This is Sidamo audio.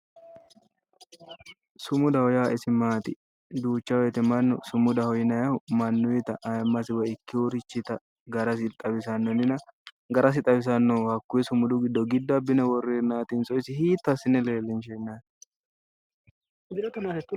Sumudaho yaa isi maati? duucha wote mannu sumudaho yinayiihu mannuyiita ayiimmasi garasi xawisanno. hakkuyi sumudu giddo. giddo abbine worreennaatinso isi hiitto assine leellinsheennaati